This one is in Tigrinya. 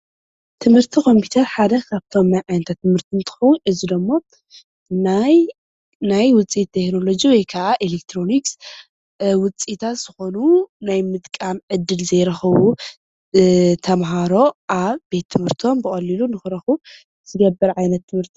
ትምህርቲ ኮምፒተር ሓደ ካብቶም ናይ ዓይነታት ትምህርቲ እንትኾን እዚ ደሞ ናይ ውፅኢት ቴክኖሎጂ ወይ ካዓ ኤሌክትሮኒክስ ውፅኢታት ዝኾኑ ናይ ምጥቃም ዕድል ዘይረኽቡ ተማሃሮ ኣብ ቤት ትምህርቶም ብቐሊሉ ንኽረኽቡ ዝገብር ዓይነት ትምህርቲ እዩ።